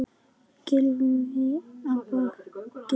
Gylfi á bekkinn?